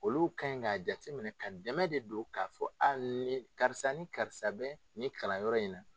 Olu ka ɲi k'a jate minɛ ka dɛmɛ de don k'a fɔ ni karisa ni karisa bɛ ni kalan yɔrɔ in na.